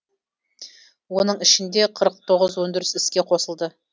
оның ішінде қырық тоғыз өндіріс іске қосылды